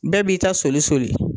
Bɛɛ b'i ta soli soli